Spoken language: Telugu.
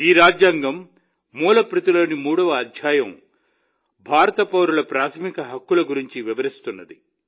ఈ రాజ్యాంగం మూల ప్రతిలోని మూడవ అధ్యాయం భారతదేశ పౌరుల ప్రాథమిక హక్కుల గురించి వివరిస్తుంది